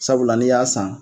Sabula n'i y'a san.